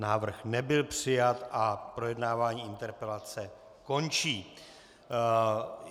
Návrh nebyl přijat a projednávání interpelace končí.